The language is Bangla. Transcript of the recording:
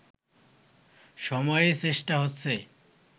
সময়েই চেষ্টা হচ্ছে